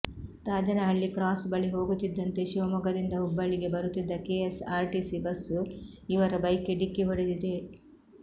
Rajanahalli cross ಬಳಿ ಹೋಗುತ್ತಿದ್ದಂತೆ ಶಿವಮೊಗ್ಗದಿಂದ ಹುಬ್ಬಳ್ಳಿಗೆ ಬರುತ್ತಿದ್ದ ಕೆಎಸ್ಆರ್ಟಿಸಿ ಬಸ್ ಇವರ ಬೈಕ್ಗೆ ಡಿಕ್ಕಿ ಹೊಡೆದಿದೆ